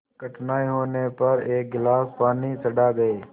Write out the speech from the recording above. कठिनाई होने पर एक गिलास पानी चढ़ा गए